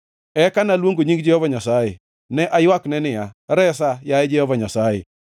Eka naluongo nying Jehova Nyasaye, ne aywakne niya, “Resa, yaye Jehova Nyasaye!”